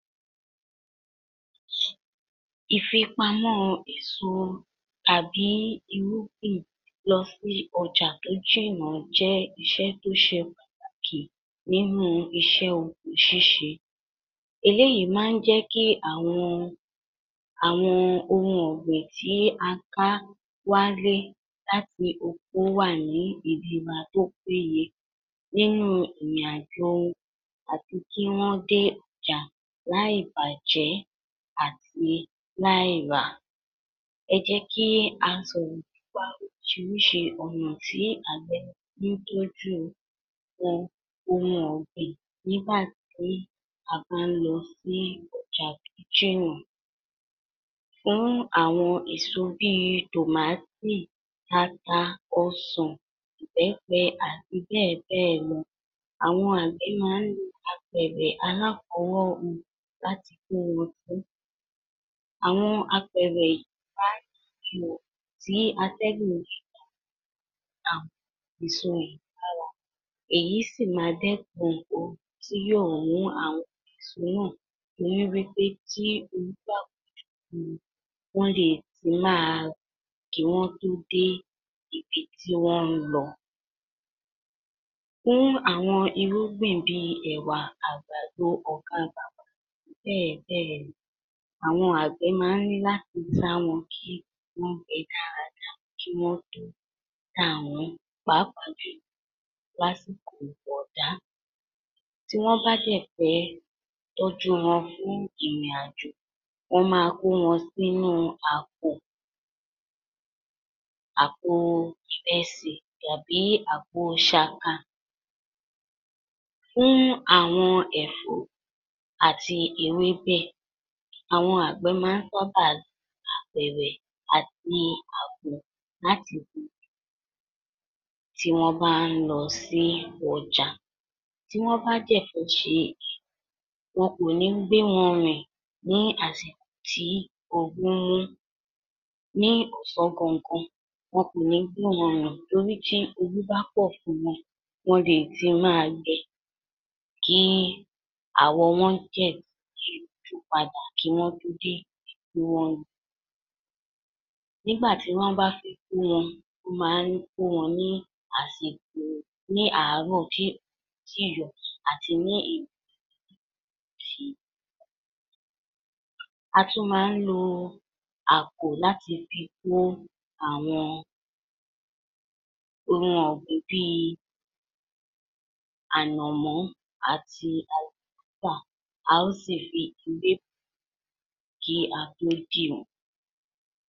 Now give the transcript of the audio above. Ìfipamọ́ èso tàbí irúgbìn lọ sí ọjà tó jìnnà jẹ́ iṣẹ́ tó ṣeun kì nínú iṣẹ́ oko ṣíṣe. Eléyìí máa ń jẹ́ kí àwọn àwọn ohun ọ̀gbìn tí a ká wálé láti oko wà ní ìdiba ]tó péye nínú ìrìn-àjò àti kí wọ́n dé ọjà láì bàjẹ́ àti láì rà. Ẹ jẹ́ kí a sọ̀rọ̀ nípa oríṣiríṣi ọ̀nà tí àgbẹ̀ fí ń tọ́jú nǹkan ohun ọ̀gbìn nígbà tí a bá ń lọ sí ọjà tó jìnnà. Irú àwọn èso bí i tòmáátì, ata, ọsàn, ìbẹ́pẹ àti bẹ́ẹ̀ bẹ́ẹ̀ lọ, àwọn àgbẹ̀ máa ń lo apẹ̀ẹ̀rẹ̀ aláfọwọ́hun láti kó wọn sí. Àwọn apẹ̀ẹ̀rẹ̀ máa ń ní ihò tí atẹ́gùn lè gbà ba èso lára, èyí sì máa dẹ́kun ooru tí yóò mú àwọn èso náà torí wí pé tí ooru bá pọ̀, wọ́n le è ti máa kí wọ́n tó dé ibi tí wọ́n ń lọ. Fún àwọn irúgbìn bí i ẹ̀wà, àgbàdo ọkọọ̀kan-ùn bẹ́ẹ̀ bẹ́ẹ̀ lọ, àwọn àgbẹ̀ máa ń ní láti sá wọn, kí wọ́n gbe dáadáa, kí wọ́n le taà wọ́n pàápàá jùlọ lásìkò ọ̀dá. Tí wọ́n bá dẹ̀ fẹ́ tọ́jú wọn fún ìrìn-àjò, wọ́n máa kó wọn sínúu àpò àpoo ìrẹsì tàbí àpo ṣaka. Fún àwọn ẹ̀fọ́, àti ewébẹ̀, àwọn àgbẹ̀ máa ń sáábà lo apẹ̀ẹ̀rẹ̀ àti àpò láti fi tí wọ́n bá ń lọ sí ọjà. Tí wọ́n bá dẹ̀ fẹ́ ṣe, wọn kò ní gbé wọn rìn ní àsìkò tí ooru ń mú. NÍ ọ̀sán gangan, wọn kò ní gbé wọn rìn torí tí ooru bá pọ̀ fún wọn, wọ́n leè ti máa gbẹ, kí àwọ̀ wọ́n jẹ̀ yíjú padà kí wọ́n tó dé ibi tí wọ́n ń lọ. Nígbà tí wọ́n bá fi kó wọn, wọ́n máa ń kó wọn ní àsìkò ní àárọ̀ tí òòrùn ò yì tíì yọ àti ní òru. A tún máa ń lo àpò láti fi kó àwọn ohun ọ̀gbìn bí i ànàmọ́ àti, a ó sì fi.